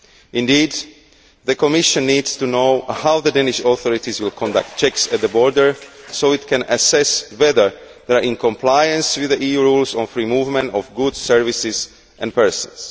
Indeed, the Commission needs to know how the Danish authorities will conduct checks at the border so that it can assess whether they are in compliance with the EU rules on free movement of goods, services and persons.